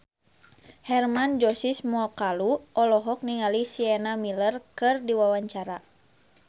Hermann Josis Mokalu olohok ningali Sienna Miller keur diwawancara